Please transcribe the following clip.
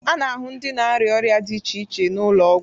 A na-ahụ ndị na-arịa ọrịa dị iche iche n'ụlọ ọgwụ.